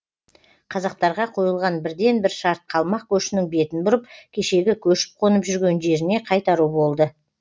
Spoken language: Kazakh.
қазақтарға қойылған бірден бір шарт қалмақ көшінің бетін бұрып кешегі көшіп қонып жүрген жеріне қайтару болды